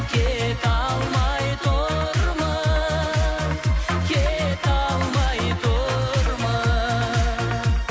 кете алмай тұрмыз кете алмай тұрмыз